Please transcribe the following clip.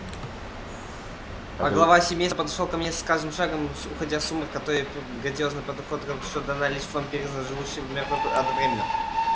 а глава семейства подошёл ко мне с каждым шагом уходя в сумрак той грациозной походкой что дана лишь вампирам живущим и мёртвым одновременно